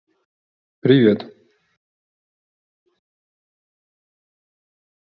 привет